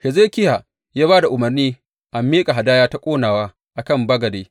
Hezekiya ya ba da umarni a miƙa hadaya ta ƙonawa a kan bagade.